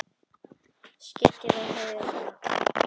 Skyggni á heiðinni sé ágætt